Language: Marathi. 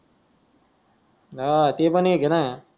हा ते पण एक हे ना